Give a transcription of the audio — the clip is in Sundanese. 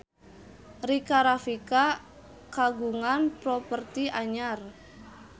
Rika Rafika kagungan properti anyar